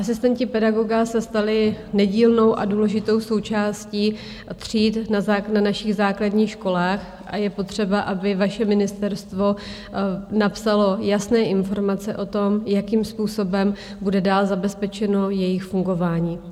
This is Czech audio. Asistenti pedagoga se stali nedílnou a důležitou součástí tříd na našich základních školách a je potřeba, aby vaše ministerstvo napsalo jasné informace o tom, jakým způsobem bude dál zabezpečeno jejich fungování.